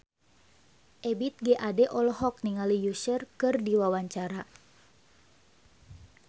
Ebith G. Ade olohok ningali Usher keur diwawancara